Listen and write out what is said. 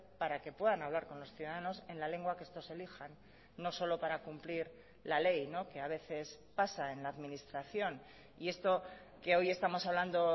para que puedan hablar con los ciudadanos en la lengua que estos elijan no solo para cumplir la ley que a veces pasa en la administración y esto que hoy estamos hablando